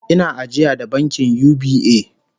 Ina ajiya da bankin UBA